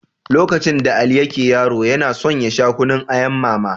Lokacin da Ali yake yaro, yana son ya sha Kunun ayan Mama.